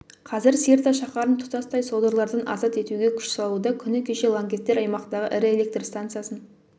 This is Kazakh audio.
қазір сирта шаһарын тұтастай содырлардан азат етуге күш салуда күні кеше лаңкестер аймақтағы ірі электр станциясын